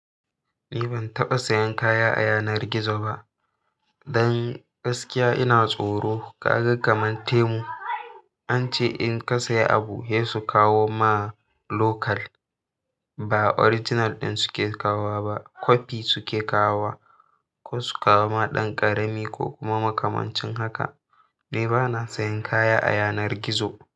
Ni ban taɓa sayan kaya a yanar gizo ba. Dan gaskiya ina tsoro ka ga kaman temu an ce in ka sayi abu, hei su kawo ma local. Ba original ɗin suke kawo wa ba kofi suke kawo wa ko su kawo ma ɗan ƙarami ko kuma makamancin haka. Ni bana sayan kaya a yanar gizo.